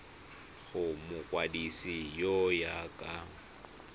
go mokwadise go ya ka